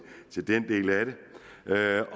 er jeg